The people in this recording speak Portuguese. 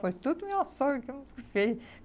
Foi tudo minha sogra quem que fez.